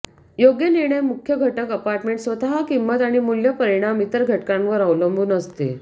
योग्य निर्णय मुख्य घटक अपार्टमेंट स्वतः किंमत आणि मूल्य परिणाम इतर घटकांवर अवलंबून असते